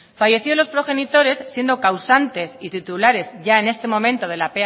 fallecidos los progenitores siendo causantes y titulares ya en este momento de la